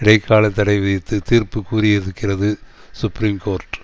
இடைக்கால தடை விதித்து தீர்ப்பு கூறியிருக்கிறது சுப்ரீம் கோர்ட்